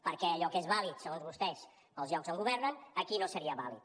perquè allò que és vàlid segons vostès par als llocs on governen aquí no seria vàlid